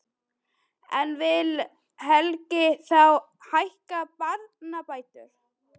En vill Helgi þá hækka barnabætur?